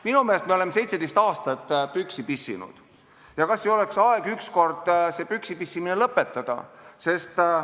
Minu meelest me oleme 17 aastat püksi pissinud ja kas ei oleks aeg ükskord see püksi pissimine lõpetada?